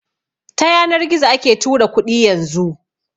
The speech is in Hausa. Ta yanar gizo ake tura kuɗi yanzu